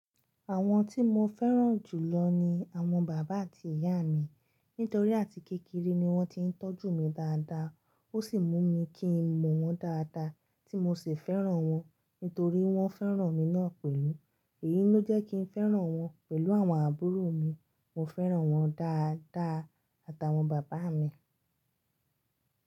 Àwọn tí mo fẹ́ràn jù lọ ni àwọn bàbá àti ìyá mi nítorí àti kékeré ni wọ́n ti ń tọ́jú mi dáadáa. Ó sì mú mi kí n mọ̀ wọ́n dáadáa tí mo sì fẹ́ràn wọn nítorí wọ́n fẹ́ràn mi náà pẹ̀lú. Èyí ló jẹ́ kí n fẹ́ràn wọn pẹ̀lú àwọn àbúrò mi. Mo fẹ́ràn wọ́n dáadáa àtàwọn bàbá mi.